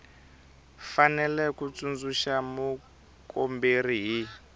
fanele ku tsundzuxa mukomberi hi